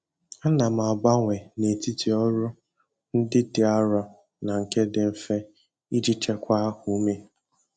Ana m agbanwe n'etiti ọrụ ndị dị arọ na nke dị mfe iji chekwaa ume.